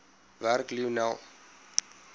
werk lionel